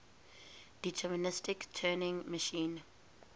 deterministic turing machine